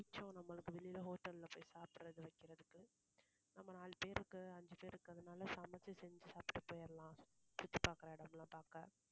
மிச்சம் நம்மளுக்கு வெளில hotel ல்ல போய் சாப்பிடறது வைக்கிறதுக்கு. நம்ம நான்கு பேருக்கு, அஞ்சு பேருக்கு, அதனால சமைச்சு செஞ்சு சாப்பிட்டு போயிடலாம் சுத்தி பாக்கற இடமெல்லாம் பாக்க.